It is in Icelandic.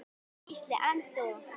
Gísli: En þú?